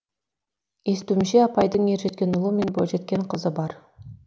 естуімше апайдың ержеткен ұлы мен бойжеткен қызы бар